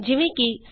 easy